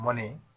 Mɔni